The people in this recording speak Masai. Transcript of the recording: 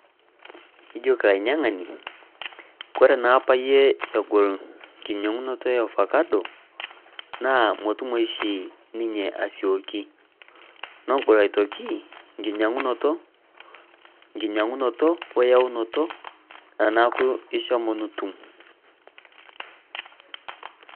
Ijoki ainyiangani ore oree abayie egol enkinyiangunoto efakado naa metoyu oshi ninye asioki negol aitoki nkinyiangunoto oyaunoto teneeku ishomo nitum.